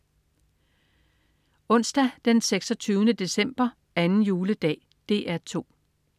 Onsdag den 26. december. 2. juledag - DR 2: